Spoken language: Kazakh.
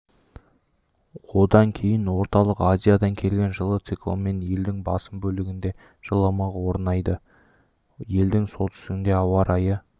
одан кейін орталық азиядан келген жылы циклонмен елдің басым бөлігінде жылымық орнайды елдің солтүстігінде ауа райы